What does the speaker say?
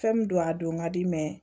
Fɛn min don a don ka di mɛ